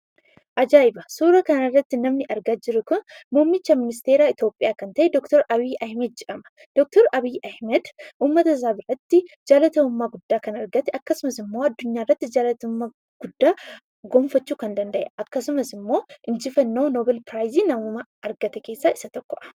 Ajaa'iba! Suuraa kanarratti namni argaa jirru kun, muummicha ministeeraa Itoopiyaa kan ta'e Dr Abiyyi Ahmed jedhama. Dr Abiyyi Ahmed uummatasaa biratti jaalatamummaa guddaa kan argate, akkasumasimmoo addunyaarrattis jaalatamummaa guddaa gonfachuu kan danda'eedha. Akkasumas immoo injifannoo 'noobeelii ' namummaa kan injifateedha.